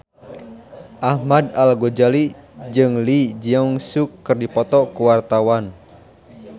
Ahmad Al-Ghazali jeung Lee Jeong Suk keur dipoto ku wartawan